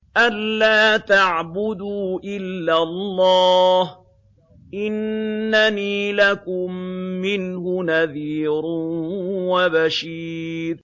أَلَّا تَعْبُدُوا إِلَّا اللَّهَ ۚ إِنَّنِي لَكُم مِّنْهُ نَذِيرٌ وَبَشِيرٌ